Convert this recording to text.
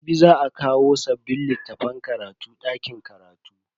Jibi za a kawo sabbin littafan karatu dakin karatu.